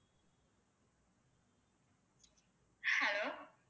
hello